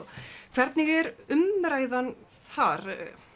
hvernig er umræðan þar